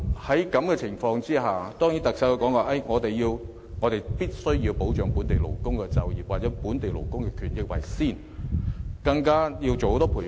在這樣的情況下，特首的說法固然是我們必須優先保障本地勞工的就業機會及權益，更要推行很多培訓。